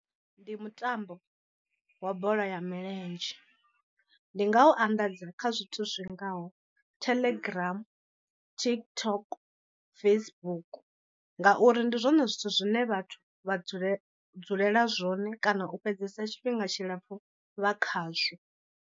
Ndi mutambo wa bola ya milenzhe ndi nga u anḓadza kha zwithu zwi ngaho Telegram, TikTok, Facebook ngauri ndi zwone zwithu zwine vhathu vha dzule dzulela zwone kana u fhedzesa tshifhinga tshilapfu vha khazwo.